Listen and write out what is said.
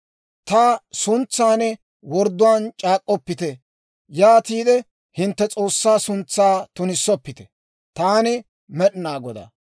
« ‹Ta suntsan wordduwaan c'aak'k'oppite; yaatiide hintte S'oossaa suntsaa tunissoppite. Taani Med'inaa Godaa.